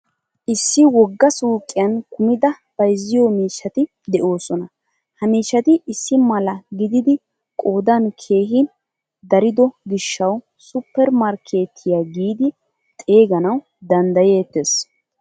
Issi woggaa suuqiyan kumida bayzziyo miishshati deosona. Ha miishshati issimala gididi qoodan keehin darido gishshawu supper markkettiyaa giidi xeeganawu danddayettees.